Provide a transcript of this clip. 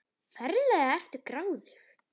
Ferlega ertu gráðug!